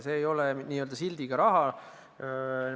See ei ole n-ö sildiga raha.